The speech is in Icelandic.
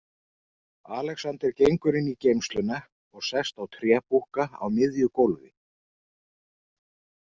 Alexander gengur inn í geymsluna og sest á trébúkka á miðju gólfi.